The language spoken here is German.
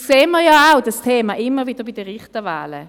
Dieses Thema sehen wir immer wieder bei den Richterwahlen.